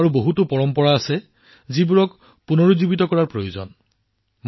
ভাৰতত এনে ধৰণৰ আন বহুতো প্ৰথা আছে যাক পুনৰুজ্জীৱিত কৰিব লাগিব